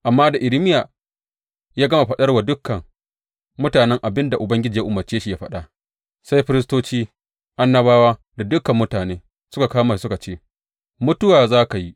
Amma da Irmiya ya gama faɗar wa dukan mutanen abin da Ubangiji ya umarce shi ya faɗa, sai firistoci, annabawa da dukan mutane suka kama shi suka ce, Mutuwa za ka yi!